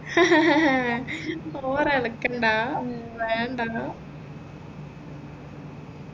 over ഇളക്കേണ്ട ഉം വേണ്ട